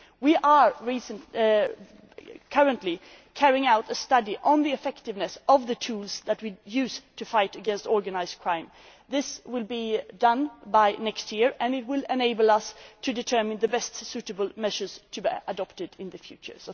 tools. We are currently carrying out a study on the effectiveness of the tools that we use to fight against organised crime. This will be done by next year, and it will enable us to determine the most suitable measures to be adopted in the